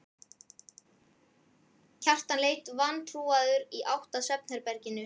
Kjartan leit vantrúaður í átt að svefnherberginu.